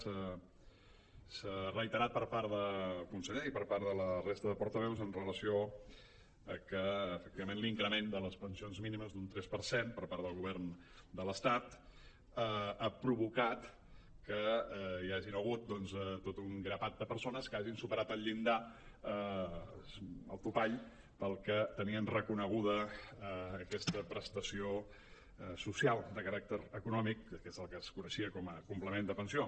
s’ha reiterat per part del conseller i per part de la resta de portaveus en relació amb que efectivament l’increment de les pensions mínimes d’un tres per cent per part del govern de l’estat ha provocat que hi hagin hagut doncs tot un grapat de persones que hagin superat el llindar el topall pel qual tenien reconeguda aquesta prestació social de caràcter econòmic que és el que es coneixia com a complement de pensió